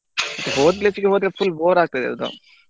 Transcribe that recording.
ಮತ್ತೆ ಹೋದ್ place ಗೆ ಹೋದ್ರೆ full bore ಆಗ್ತದೆ ಅದು .